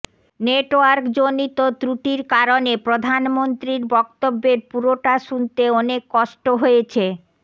নেটওয়ার্কজনিক ত্রুটির কারণে প্রধানমন্ত্রীর বক্তব্যের পুরোটা শুনতে অনেক কষ্ট হয়েছে